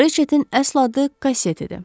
Rçetin əsl adı Kasseti idi.